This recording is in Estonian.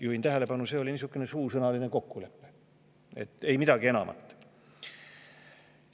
Juhin tähelepanu, et see oli suusõnaline kokkulepe, ei midagi enamat.